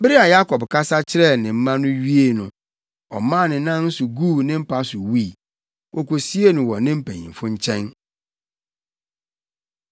Bere a Yakob kasa kyerɛɛ ne mma no wiee no, ɔmaa ne nan so guu ne mpa so wui. Wokosiee no wɔ ne mpanyimfo nkyɛn.